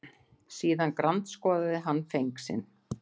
Síðan grandskoðaði hann feng sinn.